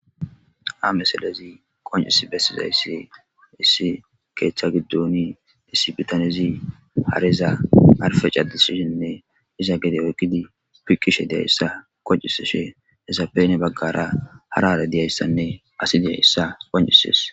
ha miselezi qoncis bessizayssi issi keethcha giddoni issi bitanezi hareza arfe cadisishinne iza gede oykkidi pikishe deyayssa kocisishe hesapene baggara harale diyayssanne asi diyayssa qoncisis